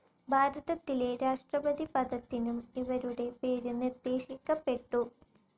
ഭാരതത്തിലെ രാഷ്ട്രപതി പദത്തിനും ഇവരുടെ പേര് നിർദ്ദേശിക്കപ്പെട്ടു.